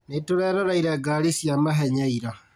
Nĩtũreroreire ngari cia mahenya ira